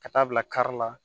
Ka taa bila kari la